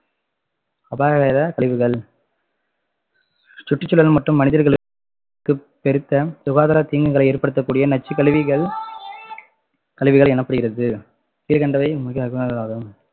அபாயகர கழிவுகள் சுற்றுசூழல் மற்றும் மனிதர்களுக்கு பெருத்த சுகாதார தீங்குகளை ஏற்படுத்தகூடிய நச்சுகழிவுகள் கழிவுகள் எனப்படுகிறது கீழ்கண்டவை ஆகும்